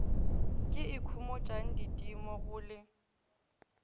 ke ikhomotšang didimo go le